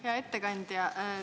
Hea ettekandja!